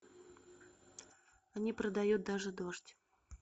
они продают даже дождь